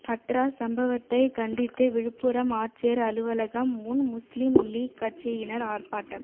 ஹத்ராஸ் சம்பவத்தை கண்டித்து விழுப்புரம் ஆட்சியர் அலுவலகம் முன் முஸ்லிம் லீக் கட்சியினர் ஆர்ப்பாட்டம்